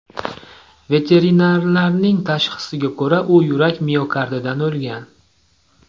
Veterinarlarning tashxisiga ko‘ra, u yurak miokardidan o‘lgan.